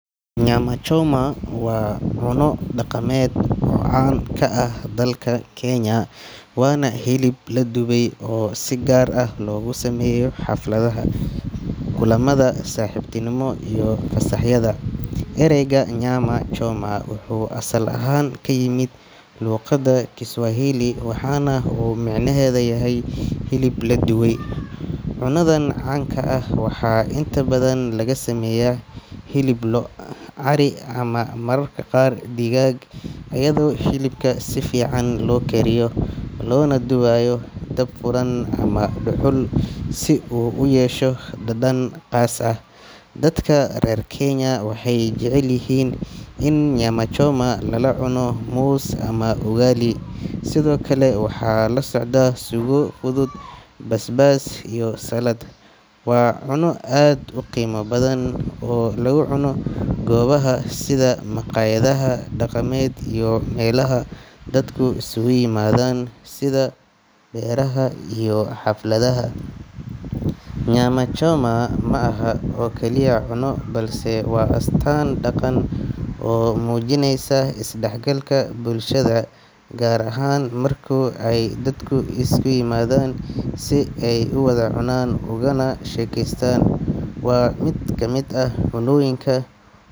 Nyama choma waa cunno dhaqameed caan ka ah dalka Kenya, waana hilib la dubay oo si gaar ah loogu sameeyo xafladaha, kulamada saaxiibtinimo iyo fasaxyada. Ereyga nyama choma wuxuu asal ahaan ka yimid luqadda Kiswahili, waxaana uu micnaheedu yahay "hilib la dubay". Cunadan caanka ah waxaa inta badan laga sameeyaa hilib lo', ari ama mararka qaar digaag, iyadoo hilibka si fiican loo kariyo loona dubaayo dab furan ama dhuxul si uu u yeesho dhadhan qaas ah. Dadka reer Kenya waxay jecel yihiin in nyama choma lala cuno muus ama ugali, sidoo kale waxaa la socda suugo fudud, basbaas, iyo saladh. Waa cunno aad u qiimo badan oo lagu cuno goobaha sida makhaayadaha dhaqameed iyo meelaha dadku isugu yimaadaan sida beeraha iyo xafladaha. Nyama choma ma aha oo kaliya cunno, balse waa astaan dhaqan oo muujinaysa isdhexgalka bulshada, gaar ahaan marka ay dadku isu yimaadaan si ay u wada cunaan ugana sheekeystaan. Waa mid ka mid ah cunnooyinka.